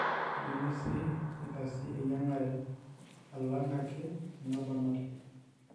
keidimi sii neitaasi eyiangare alanga ek anaponari.